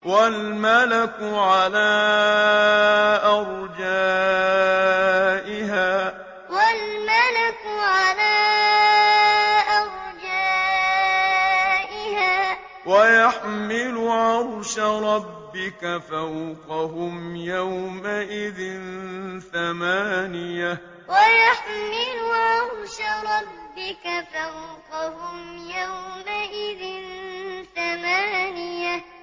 وَالْمَلَكُ عَلَىٰ أَرْجَائِهَا ۚ وَيَحْمِلُ عَرْشَ رَبِّكَ فَوْقَهُمْ يَوْمَئِذٍ ثَمَانِيَةٌ وَالْمَلَكُ عَلَىٰ أَرْجَائِهَا ۚ وَيَحْمِلُ عَرْشَ رَبِّكَ فَوْقَهُمْ يَوْمَئِذٍ ثَمَانِيَةٌ